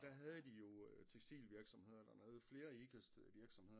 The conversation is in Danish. Og der havde de jo tekstilvirksomheder der nede flere Ikast virksomheder